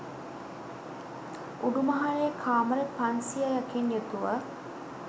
උඩු මහලේ කාමර පන්සියයකින් යුතුව